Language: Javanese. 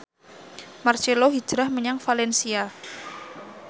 marcelo hijrah menyang valencia